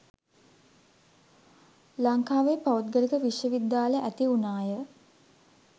ලංකාවේ පෞද්ගලික විශ්ව විද්‍යාල ඇති වුණාය